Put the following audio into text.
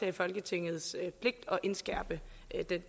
i folketingets pligt at indskærpe